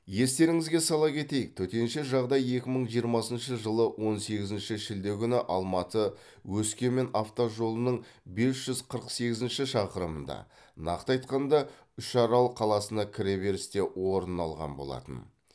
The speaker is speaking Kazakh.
естеріңізге сала кетейік төтенше жағдай екі мың жиырмасыншы жылы он сегізінші шілде күні алматы өскемен автожолының бес жүз қырық сегізінші шақырымында нақты айтқанда үшарал қаласына кіреберісте орын алған болатын